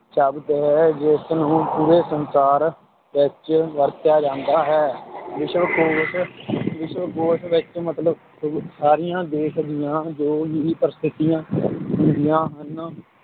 ਸ਼ਬਦ ਹੈ ਜਿਸਨੂੰ ਪੂਰੇ ਸੰਸਾਰ ਵਿੱਚ ਵਰਤਿਆ ਜਾਂਦਾ ਹੈ ਵਿਸ਼ਵਕੋਸ਼ ਵਿਸ਼ਕੋਸ਼ ਵਿੱਚ ਮਤਲਬ ਸਾਰੀਆਂ ਦੇਸ ਦੀਆਂ ਜੋ ਵੀ ਪ੍ਰਸਿੱਧੀਆਂ ਹੁੰਦੀਆਂ ਹਨ